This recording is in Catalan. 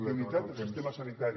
la unitat del sistema sanitari